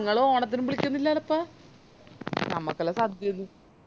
ഇങ്ങള് ഓണത്തിന് ബി ളിക്കുന്നില്ലലപ്പ നമ്മക്കെല്ലോ സദ്യന്ത്